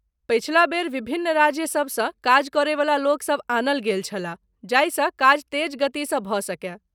पछिला बेर विभिन्न राज्यसभ सँ काजकरैवला लोकसभ आनल गेल छलाह जाहिसँ काज तेज गतिसँ भऽ सकय।